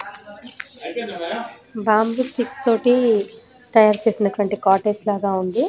బాంబో sticks తోని తాయారు చేసినటువంటి కాటేజ్ లగా ఉంది.